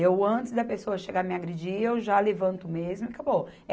Eu, antes da pessoa chegar a me agredir, eu já levanto mesmo e acabou.